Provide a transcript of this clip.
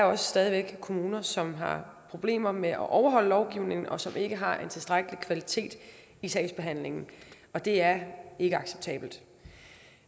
der stadig væk er kommuner som har problemer med at overholde lovgivningen og som ikke har en tilstrækkelig kvalitet i sagsbehandlingen og det er ikke acceptabelt